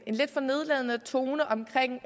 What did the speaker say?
lidt for nedladende tone omkring